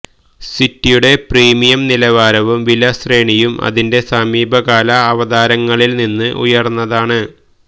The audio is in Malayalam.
സിറ്റിയുടെ പ്രീമിയം നിലവാരവും വില ശ്രേണിയും അതിന്റെ സമീപകാല അവതാരങ്ങളിൽ നിന്ന് ഉയർന്നതാണ്